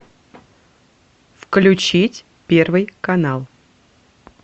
включить первый канал